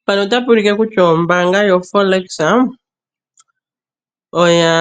Mpano otapu ulike kutya ombaanga yoForex oya